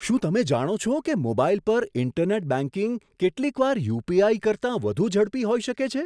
શું તમે જાણો છો કે મોબાઈલ પર ઈન્ટરનેટ બેંકિંગ કેટલીકવાર યુપીઆઈ કરતાં વધુ ઝડપી હોઈ શકે છે?